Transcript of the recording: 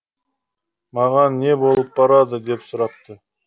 маған не болып барады деп сұрапты